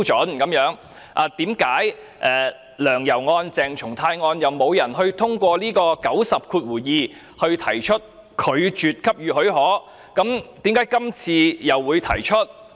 為何"梁游"案、鄭松泰案沒有人根據第902條提出拒絕給予許可，但今次卻有人提出呢？